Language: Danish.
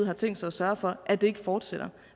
har tænkt sig at sørge for at det ikke fortsætter